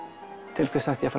til hvers ætti ég